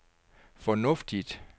fornuftigt